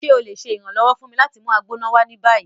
Ṣe o le ṣe iranlọwọ fun mi lati mu Agbona wa ni bayi?